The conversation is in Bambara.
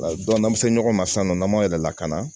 n'an bɛ se ɲɔgɔn ma sisan nɔ n'an m'an yɛrɛ lakana